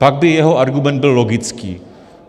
Pak by jeho argument byl logický.